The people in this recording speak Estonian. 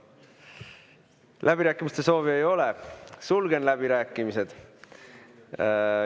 Läbirääkimiste soovi ei ole, sulgen läbirääkimised.